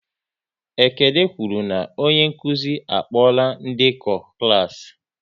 Ekene kwụrụ na onye nkụzi a kpola ndekọ klas